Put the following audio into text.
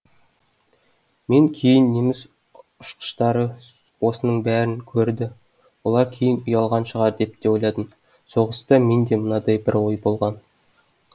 мен кейін неміс ұшқыштары осының бәрін көрді олар кейін ұялған шығар деп те ойладым соғыста менде мынадай бір ой болған